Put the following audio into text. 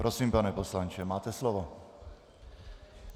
Prosím, pane poslanče, máte slovo.